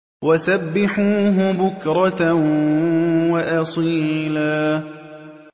وَسَبِّحُوهُ بُكْرَةً وَأَصِيلًا